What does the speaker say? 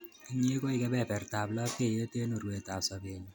Inye koi kepepertap lapkeyet eng' urwetap sobennyu.